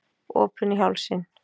Opinni í hálsinn.